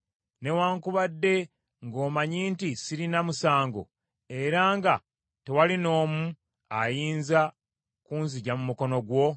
newaakubadde ng’omanyi nti sirina musango era nga tewali n’omu ayinza kunzigya mu mukono gwo?